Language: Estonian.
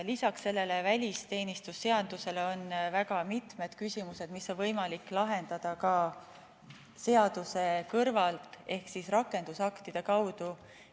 Lisaks sellele välisteenistuse seadusele on väga mitmed küsimused, mis on võimalik lahendada ka seaduse kõrval ehk rakendusaktide kaudu.